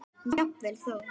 Jafnvel þó